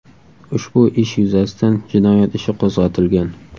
Ushbu ish yuzasidan jinoyat ishi qo‘zg‘atilgan.